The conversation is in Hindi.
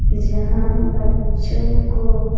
जहां बच्चों को--